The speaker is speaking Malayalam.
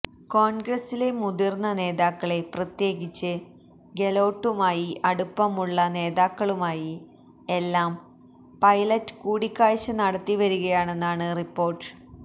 കോൺഗ്രസിലെ മുതിർന്ന നേതാക്കളെ പ്രത്യകിച്ച് ഗെലോട്ടുമായി അടുപ്പമുള്ള നേതാക്കളുമായി എല്ലാം പൈലറ്റ് കൂടിക്കാഴ്ച നടത്തി വരികയാണെന്നാണ് റിപ്പോർട്ട്